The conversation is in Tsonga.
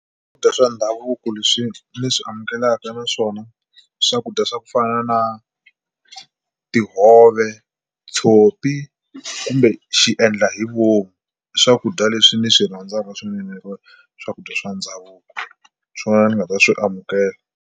Swakudya swa ndhavuko leswi ni amukelaka na swona swakudya swa ku fana na tihove, tshopi kumbe xiendlahivomu. I swakudya leswi ni swi rhandzaka swinene swakudya swa ndhavuko hi swona ni nga ta swi amukela.